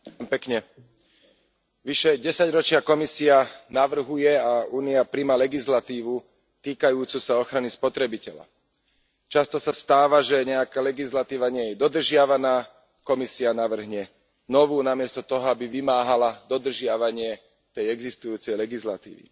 Vážený pán predseda, vyše desaťročia Komisia navrhuje a Únia prijíma legislatívu týkajúcu sa ochrany spotrebiteľa. Často sa stáva, že nejaká legislatíva nie je dodržiavaná, Komisia navrhne novú namiesto toho, aby vymáhala dodržiavanie tej existujúcej legislatívy.